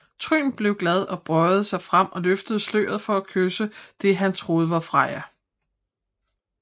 Trym blev glad og bøjede sig frem og løftede sløret for at kysse det han troede var Freja